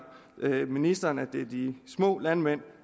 ministeren at det er de små landmænd